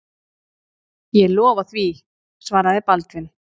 Ég lofa því, svaraði Baldvin.